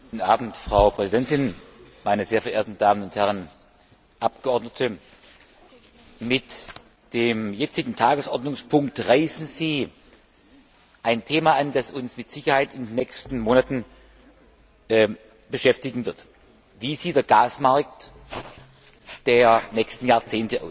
Frau Präsidentin, meine sehr verehrten Damen und Herren Abgeordneten! Mit dem jetzigen Tagesordnungspunkt reißen Sie ein Thema an, das uns mit Sicherheit in den nächsten Monaten beschäftigen wird Wie sieht der Gasmarkt der nächsten Jahrzehnte aus?